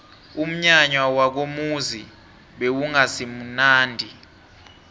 umnyanya wakomuzi bewungasimunandi